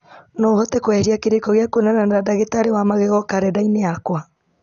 no ũhote kweheria kĩrĩko gĩa kwonana na ndagĩtarĩ wa magego karenda-inĩ yakwa